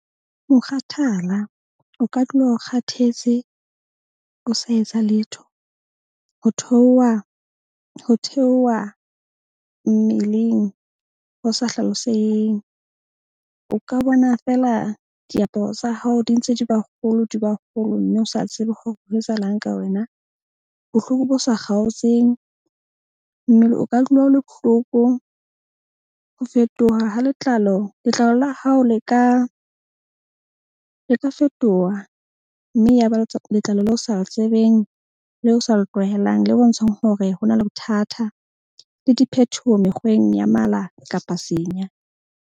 Mokgathala, o ka dula o kgathetse, o sa etsa letho. Ho theoha mmeleng ho sa hlaloseheng. O ka bona fela diaparo tsa hao di ntse di ba kgolo, di ba kgolo mme o sa tsebe hore ho etsahalang ka wena. Bohloko bo sa kgaotseng, mmele o ka dula o le bohloko. Ho fetoha ha letlalo. Letlalo la hao le ka fetoha, mme ya ba le letlalo leo o sa le tsebeng, le o sa le tlwaehang, le bontshang hore ho na le bothata. Le diphethoho mekgweng ya mala kapa senya.